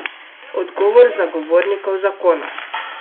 Odgovor zagovornikov zakona?